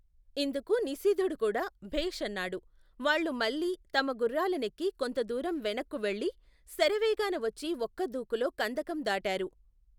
ఇందుకు నిశీధుడుకూడా భేష్ అన్నాడు వాళ్లు మళ్లీ తమ గుఱ్ఱాలనెక్కి కొంతదూరం వెనక్కి వెళ్లి శరవేగాన వచ్చి ఒక్క దూకులో కందకం దాటారు.